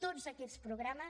tots aquests programes